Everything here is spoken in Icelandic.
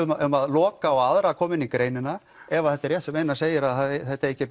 um að loka á aðra að koma inn í greinina ef þetta er rétt sem Einar segir að það eigi ekki að